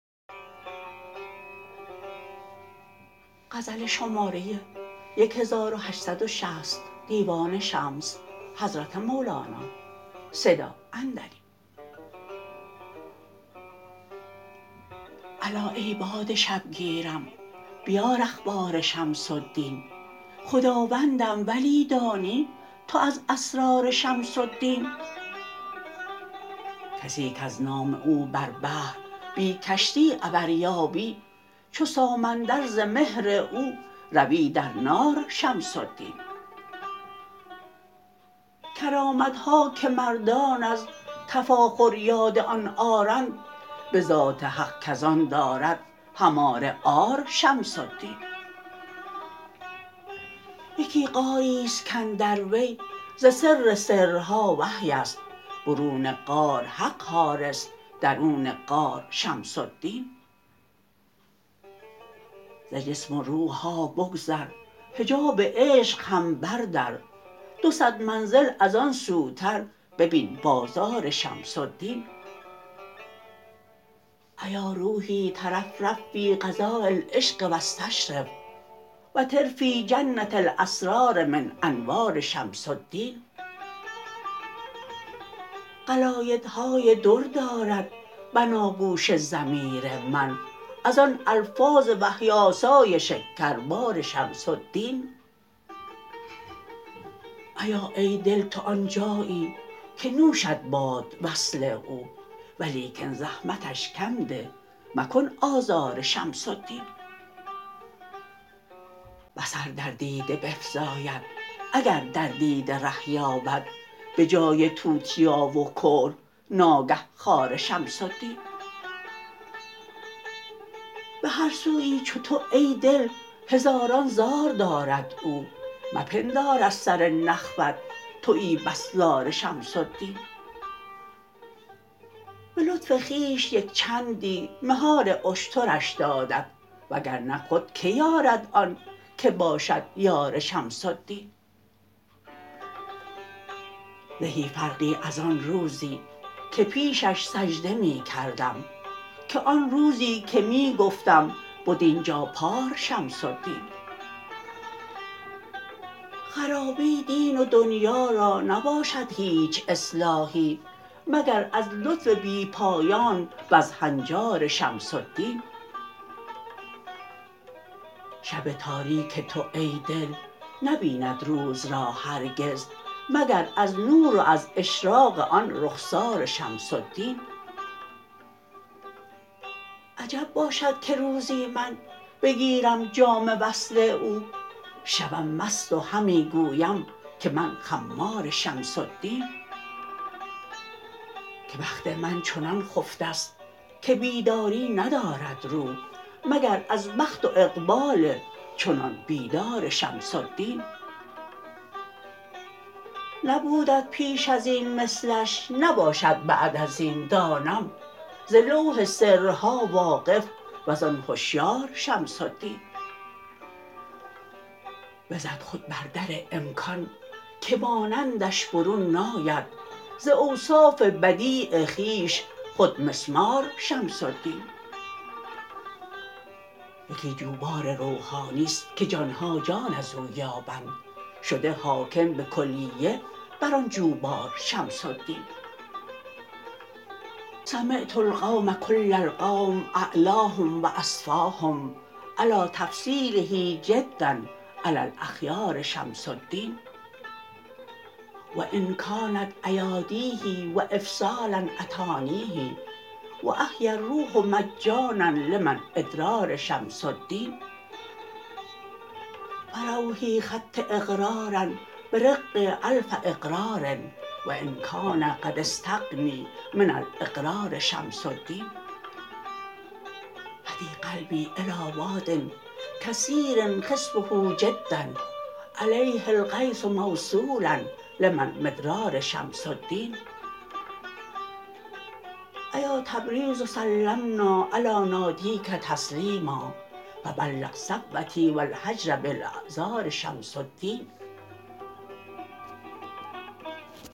الا ای باد شبگیرم بیار اخبار شمس الدین خداوندم ولی دانی تو از اسرار شمس الدین کسی کز نام او بر بحر بی کشتی عبر یابی چو سامندر ز مهر او روی در نار شمس الدین کرامت ها که مردان از تفاخر یاد آن آرند به ذات حق کز آن دارد هماره عار شمس الدین یکی غاری است کاندر وی ز سر سرها وحی است برون غار حق حارس درون غار شمس الدین ز جسم و روح ها بگذر حجاب عشق هم بردر دو صد منزل از آن سوتر ببین بازار شمس الدین ایا روحی ترفرف فی فضاء العشق و استشرف و طرفی جنه الاسرار من انوار شمس الدین قلایدهای در دارد بناگوش ضمیر من از آن الفاظ وحی آسای شکربار شمس الدین ایا ای دل تو آن جایی که نوشت باد وصل او ولیکن زحمتش کم ده مکن آزار شمس الدین بصر در دیده بفزاید اگر در دیده ره یابد به جای توتیا و کحل ناگه خار شمس الدین به هر سویی چو تو ای دل هزاران زار دارد او مپندار از سر نخوت توی بس زار شمس الدین به لطف خویش یک چندی مهار اشترش دادت وگر نه خود کی یارد آن که باشد یار شمس الدین زهی فرقی از آن روزی که پیشش سجده می کردم که آن روزی که می گفتم بد این جا پار شمس الدین خرابی دین و دنیا را نباشد هیچ اصلاحی مگر از لطف بی پایان وز هنجار شمس الدین شب تاریک تو ای دل نبیند روز را هرگز مگر از نور و از اشراق آن رخسار شمس الدین عجب باشد که روزی من بگیرم جام وصل او شوم مست و همی گویم که من خمار شمس الدین که بخت من چنان خفته ست که بیداری ندارد رو مگر از بخت و اقبال چنان بیدار شمس الدین نبودت پیش از این مثلش نباشد بعد از این دانم ز لوح سرها واقف و زان هشیار شمس الدین بزد خود بر در امکان که مانندش برون ناید ز اوصاف بدیع خویش خود مسمار شمس الدین یکی جوبار روحانی است که جان ها جان از او یابند شده حاکم به کلیه بر آن جوبار شمس الدین سمعت القوم کل القوم اعلاهم و اصفاهم علی تفضیله جدا علی الاخیار شمس الدین و ان کانت ایادیه و افضالا اتانیه و احیی الروح مجانا لمن ادرار شمس الدین فروحی خط اقرارا برق الف اقرار و ان کان قد استغنی من الاقرار شمس الدین هدی قلبی الی واد کثیر خصبه جدا علیه الغیث موصولا لمن مدرار شمس الدین ایا تبریز سلمنا علی نادیک تسلیما فبلغ صبوتی و الهجر بالاعذار شمس الدین